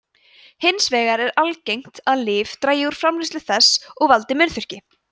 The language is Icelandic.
hins vegar er algengt að lyf dragi úr framleiðslu þess og valdi munnþurrki